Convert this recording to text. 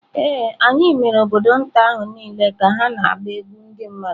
Ee, anyị mere obodo nta ahụ niile ka ha na-agba egwú ndị mmadụ.